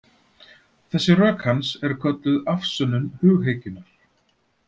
Þessi rök hans eru kölluð afsönnun hughyggjunnar.